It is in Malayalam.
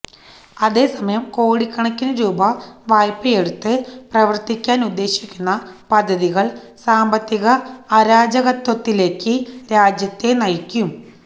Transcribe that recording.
അതേസമയം കോടിക്കണക്കിന് രൂപ വായ്പെയെടുത്ത് പ്രവര്ത്തിക്കാന് ഉദ്ദേശിക്കുന്ന പദ്ധതികള് സാമ്പത്തിക അരാജകത്വത്തിലേക്ക് രാജ്യത്തെ നയിക്കും